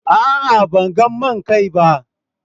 A'a, ban gan main kain ba.